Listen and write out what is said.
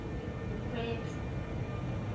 mokgweetsi